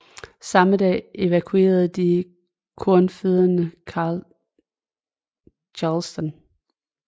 Samme dag evakuerede de konfødererede Charleston